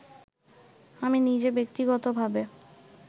আমি নিজে ব্যক্তিগতভাবে